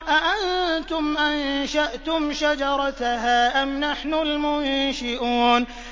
أَأَنتُمْ أَنشَأْتُمْ شَجَرَتَهَا أَمْ نَحْنُ الْمُنشِئُونَ